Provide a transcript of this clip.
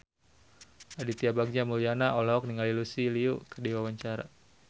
Aditya Bagja Mulyana olohok ningali Lucy Liu keur diwawancara